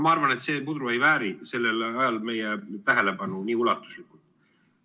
Ma arvan, et see puder ei vääri sellel ajal meie tähelepanu nii ulatuslikult.